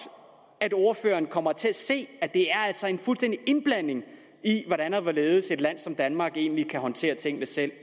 at ordføreren kommer til at se at det altså en fuldstændig indblanding i hvordan og hvorledes et land som danmark egentlig håndterer tingene selv